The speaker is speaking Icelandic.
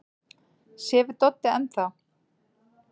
Sefur Doddi enn þá?